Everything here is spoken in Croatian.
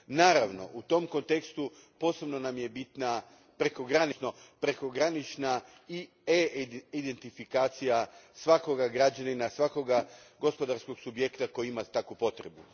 Naravno, u tom kontekstu posebno nam je bitna prekogranična suradnja, odnosno prekogranična e identifikacija svakoga građanina, svakoga gospodarskog subjekta koji ima takvu potrebu.